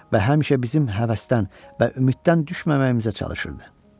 Və həmişə bizim həvəsdən və ümiddən düşməməyimizə çalışırdı.